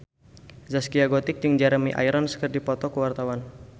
Zaskia Gotik jeung Jeremy Irons keur dipoto ku wartawan